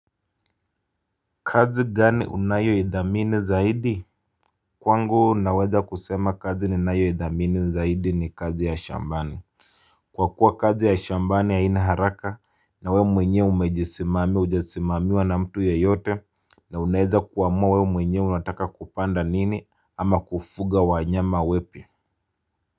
Kazi gani unayo idhamini zaidi? Kwangu naweza kusema kazi ni nayo idhamini zaidi ni kazi ya shambani. Kwa kuwa kazi ya shambani haina haraka na we mwenye umejisimami ujesimamiwa na mtu ya yote na uneza kuwamua we mwenye unataka kupanda nini ama kufuga wanyama wepi.